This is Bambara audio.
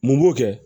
Mun b'o kɛ